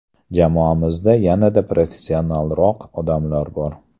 Jamoamizda yanada professionalroq odamlar bor.